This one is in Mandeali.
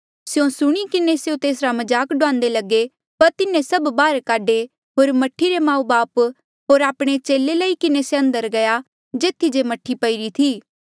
स्यों सुणी किन्हें स्यों तेसरा मजाक डुआन्दे लगे पर तिन्हें सभ बाहर काढे होर मह्ठी रे माऊबापू होर आपणे चेले लई किन्हें से अंदर गया जेथी जे मह्ठी पईरी थी